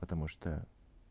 потому что